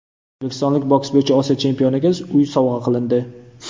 O‘zbekistonlik boks bo‘yicha Osiyo chempioniga uy sovg‘a qilindi.